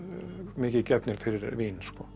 mikið gefnir fyrir vín